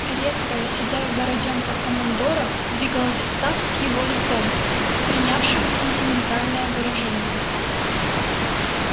редкая седая бородёнка командора двигалась в такт с его лицом принявшим сентиментальное выражение